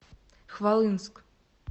хвалынск